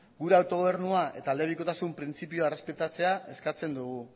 gure autogobernua eta elebikotasun printzipioa errespetatzea eskatzen dugu